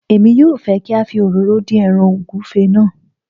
emi yóò fẹ́ kí a fi òróró dín ẹràn ògúnfe náà